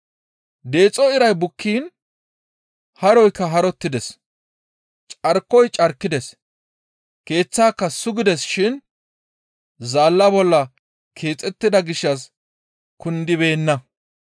Deexo iray bukkiin haroykka harottides; carkoyka carkides; keeththaaka sugides shin zaalla bolla keexettida gishshas kundibeenna.